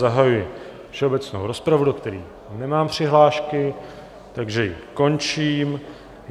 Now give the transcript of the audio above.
Zahajuji všeobecnou rozpravu, do které nemám přihlášky, takže ji končím.